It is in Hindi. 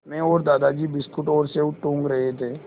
मैं और दादाजी बिस्कुट और सेब टूँग रहे थे